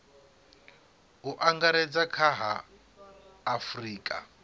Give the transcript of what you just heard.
u angaredza kha a afurika